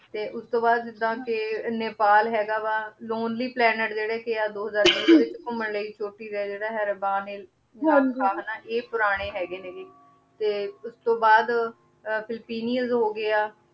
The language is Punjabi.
ਤੇ ਓਸ ਤੋਂ ਬਾਅਦ ਜਿਦਾਂ ਕੇ ਨੈਪਾਲ ਹੇਗਾ ਵਾ lonely planet ਅਹ ਜੇਰੇ ਕੇ ਆ ਦੋ ਹਜ਼ਾਰ ਟੀ ਦੇ ਜੇਰੇ ਘੁਮਾਣ ਲੈ ਹਾਂਜੀ ਆਯ ਪੁਰਾਨੀ ਹੇਗੇ ਨੇ ਤੇ ਓਸ ਤੋਂ ਬਾਅਦ ਫਿਲਿਪਿਨੇਸ ਹੋਗਯਾ